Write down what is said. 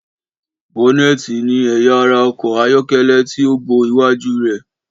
Bọ́nẹ́tiì ní ẹyà ara ọkọ̀ ayọ́kẹ́lẹ́ tí ó bo iwájú rè.